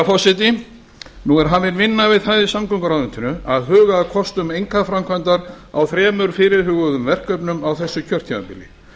forseti nú er hafin vinna við það í samgönguráðuneytinu að huga að kostum einkaframkvæmdar á þremur fyrirhuguðum verkefnum á þessu kjörtímabili